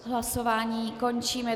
Hlasování končím.